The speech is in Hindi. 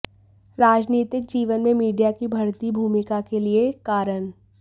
राजनीतिक जीवन में मीडिया की बढ़ती भूमिका के लिए कारण